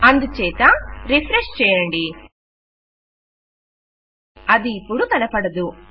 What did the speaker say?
అందుచేత రిఫ్రెష్ చేయండి అది ఇపుడు కనపడదు